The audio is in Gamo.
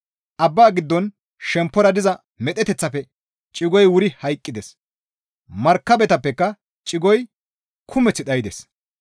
Abbaa giddon shemppora diza medheteththaafe cigoy wuri hayqqides; markabetappeka cigoy kumeth dhaydes.